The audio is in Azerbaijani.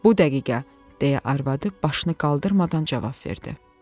Bu dəqiqə, deyə arvadı başını qaldırmadan cavab verdi.